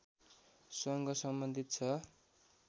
सँग सम्बन्धित छ